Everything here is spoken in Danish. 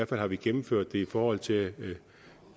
fald har vi gennemført det i forhold til